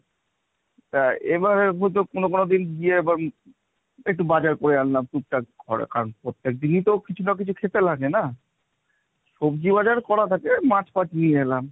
তা এবারের মতো কোন কোন দিন গিয়ে একটু বাজার করে আনলাম, টুকটাক করে কারণ প্রত্যেকদিনই তো কিছু না কিছু খেতে লাগে না; সবজি বাজার করা থাকে মাছ ফাচ নিয়ে এলাম।